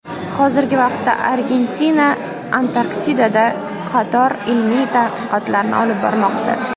Hozirgi vaqtda Argentina Antarktidada qator ilmiy tadqiqotlarni olib bormoqda.